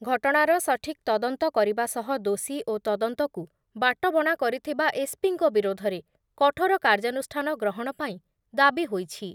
ଘଟଣାର ସଠିକ୍ ତଦନ୍ତ କରିବା ସହ ଦୋଷୀ ଓ ତଦନ୍ତକୁ ବାଟବଣା କରିଥିବା ଏସ୍‌ପିଙ୍କ ବିରୋଧରେ କଠୋର କାର୍ଯ୍ୟାନୁଷ୍ଠାନ ଗ୍ରହଣ ପାଇଁ ଦାବି ହୋଇଛି